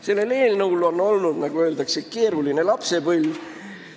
Sellel eelnõul on olnud, nagu öeldakse, keeruline lapsepõlv.